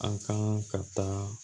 An kan ka taa